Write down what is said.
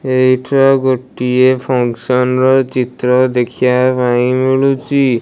ଏଇଥିରେ ଗୋଟିଏ ଫମ୍ପଷନ ର ଚିତ୍ର ଦେଖିବାପାଇଁ ମିଳୁଚି।